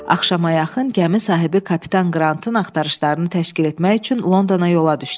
Axşama yaxın gəmi sahibi kapitan Qrantın axtarışlarını təşkil etmək üçün Londona yola düşdü.